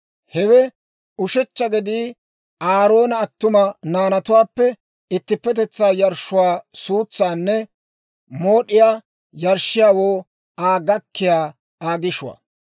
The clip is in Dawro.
Hewe ushechcha gedii Aaroona attuma naanatuwaappe ittippetetsaa yarshshuwaa suutsaanne mooddiyaa yarshshiyaawoo Aa gakkiyaa Aa gishuwaa.